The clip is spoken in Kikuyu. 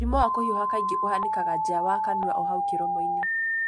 Mũrimũ wa kũhiũha kaingĩ ũhanikaga nja wa kanua o hau kĩromoinĩ.